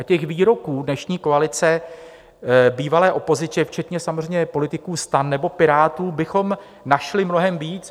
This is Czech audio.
A těch výroků dnešní koalice, bývalé opozice, včetně samozřejmě politiků STAN nebo Pirátů, bychom našli mnohem víc.